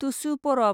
तुसु परब